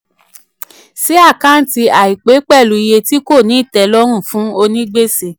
sí àkántì àìpé pẹ̀lú iye tí kò ní ìtẹlọ́rùn fún onígbèsè.